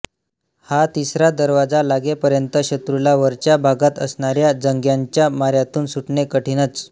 हा तिसरा दरवाजा लागेपर्यंत शत्रूला वरच्या भागांत असणाऱ्या जंग्यांच्या माऱ्यातून सुटणे कठीणच